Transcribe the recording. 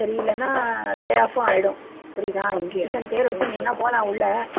சரியில்லன்னா layoff உம் ஆயிடும் புரியுதா institution பேரை வச்சு நீ வேணும்னா போலாம் உள்ள